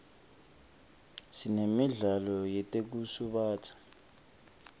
sinemidlalo yetekusubatsa